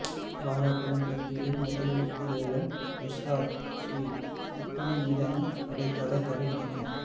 வாராக் கடன் பட்டியலில் முதலிடத்தில் உள்ள எஸ்ஸார் ஸ்டீல் விற்பனை மீதான இடைக்கால தடை நீக்கம்